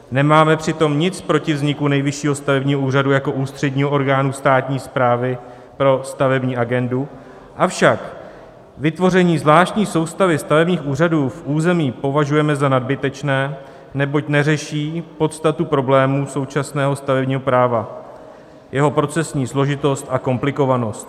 Nemáme přitom nic proti vzniku Nejvyššího stavebního úřadu jako ústředního orgánu státní správy pro stavební agendu, avšak vytvoření zvláštní soustavy stavebních úřadů v území považujeme za nadbytečné, neboť neřeší podstatu problému současného stavebního práva - jeho procesní složitost a komplikovanost.